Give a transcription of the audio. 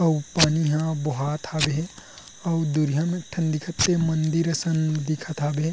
अऊ पानी ह बोहात हवे हे अऊ दूरिहा मे एक ठन दिखत तेहा मंदिर असन दिखत हवे।